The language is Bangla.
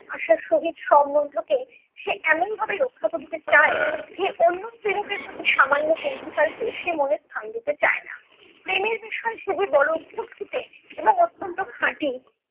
আশার সহিত সম্মন্ধকে সে এমনভাবে রক্ষা করিতে চায় যে, অন্য স্ত্রীলোকের প্রতি সামান্য কৌতূহল কেও সে মনে স্থান দিতে চায় না। প্রেমের বিষয়ে সে যে বড় খুঁত খুঁতে এবং অত্যন্ত খাঁটি